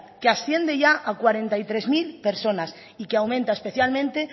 que asciende ya a cuarenta y tres mil personas y que aumenta especialmente